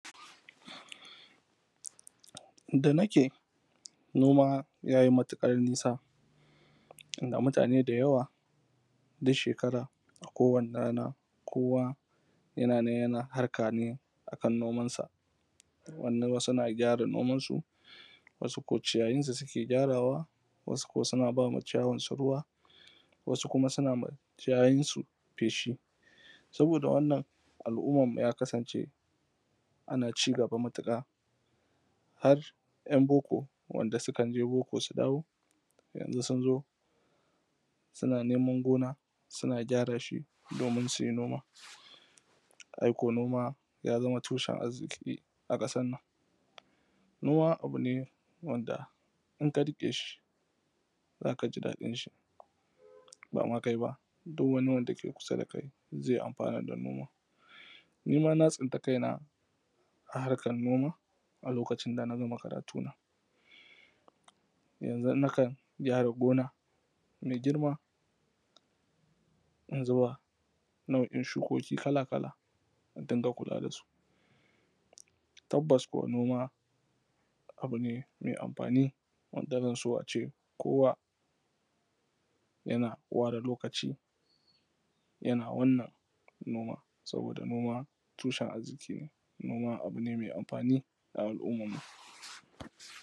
inda da nake noma ya yi matuƙar nisa inda mutane da yawa duk shekara a kowani rana kowa yana nan yana harka ne akan noman sa wasu na gyara noman su wasu ko ciyayin su suke gyarawa wasu ko suna bawa ciyawar su ruwa wasu kuma suna ma ciyayin su feshi saboda wannan al’umman mu ta kasance ana cigaba matuƙa har ‘yan book wanda sukan je book su dawo yanzu sun zo suna neman gona suna gyara shi domin su yi noma aiko noma ya zama tushen arziƙi a ƙasan nan noma abu ne wanda in ka riƙe shi zaka ji dadin shi bama kai ba duk wani wanda ke kusa da kai ma zai amfana da noman nima na tsinta kaina a harkan noma a lokacin dana gama karatu na yanzun na kan gyara gona mai girma in zuba nau’in shukoki kala-kala in dinga kula da su tabbas kuwa noma abu ne mai amfani wanda zan so ace kowa yana ware lokaci yana wannan noma saboda noma tushen arziƙi ne noma abu ne mai amfani ga al’ummar mu